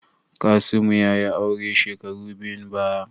Kasimu ya yi aure shekaru biyun baya.